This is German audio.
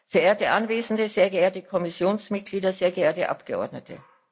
Verehrte Anwesende, sehr geehrte Kommissionsmitglieder, sehr geehrte Abgeordnete!